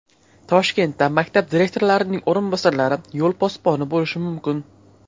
Toshkentda maktab direktorlarining o‘rinbosarlari yo‘l posboni bo‘lishi mumkin.